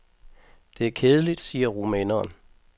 Det er kedeligt, siger rumæneren.